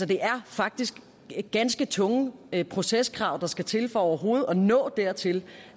det er faktisk ganske tunge proceskrav der skal til for overhovedet at nå dertil